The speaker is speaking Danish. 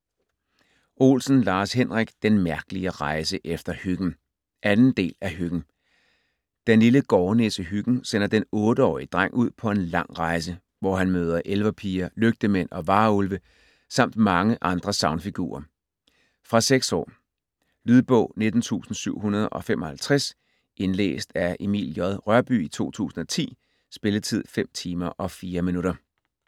Olsen, Lars-Henrik: Den mærkelige rejse efter Hyggen 2. del af Hyggen. Den lille gårdnisse Hyggen sender den 8-årige dreng ud på en lang rejse, hvor han møder ellepiger, lygtemænd og varulve samt mange andre sagnfigurer. Fra 6 år. Lydbog 19755 Indlæst af Emil J. Rørbye, 2010. Spilletid: 5 timer, 4 minutter.